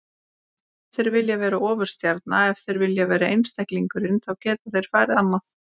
Ef þeir vilja vera ofurstjarnan, ef þeir vilja vera einstaklingurinn, þá geta þeir farið annað.